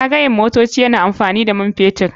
Zagayen motoci yana amfani da man fetur.